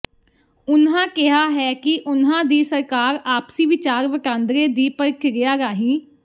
ਉਨ੍ਹਾਂ ਕਿਹਾ ਹੈ ਕਿ ਉਨ੍ਹਾਂ ਦੀ ਸਰਕਾਰ ਆਪਸੀ ਵਿਚਾਰ ਵਟਾਂਦਰੇ ਦੀ ਪ੍ਰਕਿਰਿਆ ਰਾਹੀਂ